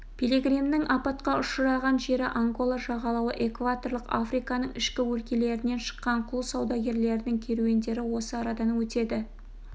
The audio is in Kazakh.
пилигримнің апатқа ұшыраған жері ангола жағалауы экваторлық африканың ішкі өлкелерінен шыққан құл саудагерлерінің керуендері осы арадан өтеді